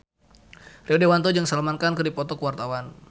Rio Dewanto jeung Salman Khan keur dipoto ku wartawan